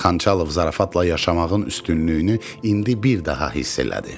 Xançalov zarafatla yaşamağın üstünlüyünü indi bir daha hiss elədi.